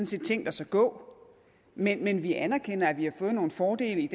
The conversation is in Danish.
set tænkt os at gå men men vi anerkender at vi har fået nogle fordele